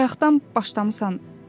Bayaqdan başlamısan.